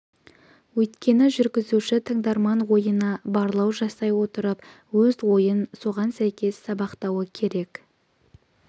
өйткені жүргізуші тыңдарман ойына барлау жасай отырып өз ойын соған сәйкес сабақтауы керек